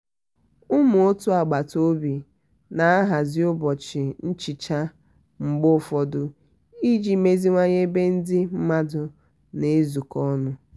ụmụ òtù agbata obi na-ahazi ụbọchi nchicha mgbe ụfọdụ iji meziwanye ebe ndị mmadụ na-ezukọ ọnụ.